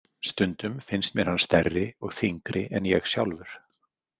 Stundum finnst mér hann stærri og þyngri en ég sjálfur.